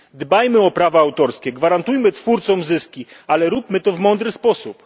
Dbajmy o prawa autorskie, gwarantujemy twórcom zyski, ale róbmy to w mądry sposób!